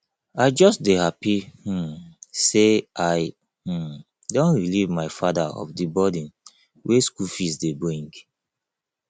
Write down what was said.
i just dey happy um say i um don relieve my father of the burden wey school fees dey bring